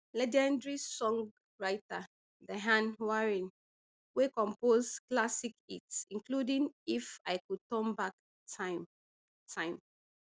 legendary songwriter diane warren wey compose classic hits including if i could turn back time time